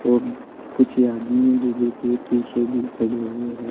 और कुछ आदमी डी_जे के पीछे भी खड़े हुए हैं।